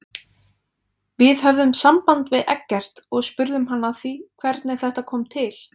Við höfðum samband við Eggert og spurðum hann að því hvernig þetta kom til?